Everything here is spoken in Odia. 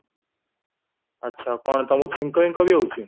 ଆଛା କ'ଣ ତମକୁ ଛିଙ୍କ ପିଙ୍କ ବି ହଉଚି